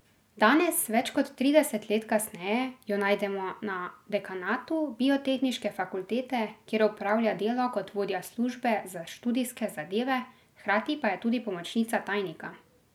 Danes, več kot trideset let kasneje, jo najdemo na dekanatu Biotehniške fakultete, kjer opravlja delo kot vodja službe za študijske zadeve, hkrati pa je tudi pomočnica tajnika.